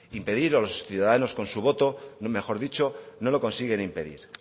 impedir o los ciudadanos con su voto mejor dicho no lo consiguen impedir